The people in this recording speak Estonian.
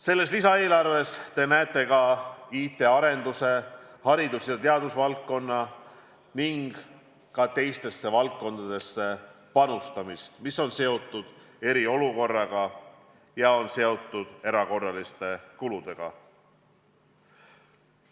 Selles lisaeelarves näete ka IT-arendusse, haridus- ja teadusvaldkonda ning teistessegi valdkondadesse panustamist, mis on seotud eriolukorraga ja erakorraliste kuludega.